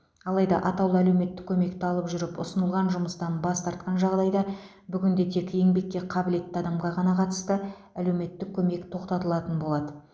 алайда атаулы әлеуметтік көмекті алып жүріп ұсынылған жұмыстан бас тартқан жағдайда бүгінде тек еңбекке қабілетті адамға ғана қатысты әлеуметтік көмек тоқтатылған болатын